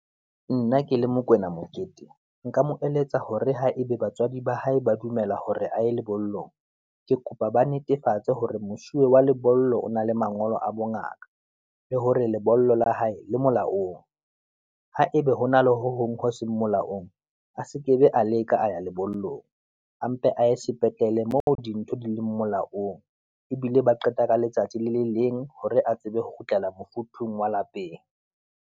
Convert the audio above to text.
Nna ke le Mokwena Moketeng, nka mo eletsa hore ha ebe batswadi ba hae ba dumela hore a ye lebollong, ke kopa ba netefatse hore mosuwe wa lebollo o na le mangolo a bongaka, le hore lebollo la hae le molaong. Haebe ho na le ho hong ho seng molaong, a sekebe a leka a ya lebollong, a mpe a ye sepetlele moo dintho di le molaong, ebile ba qeta ka letsatsi le le leng, hore a tsebe ho kgutlela mofuthu wa lapeng.